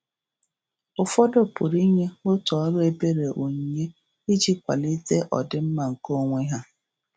Ụfọdụ pụrụ inye otu ọrụ ebere onyinye iji kwalite ọdịmma nke onwe ha.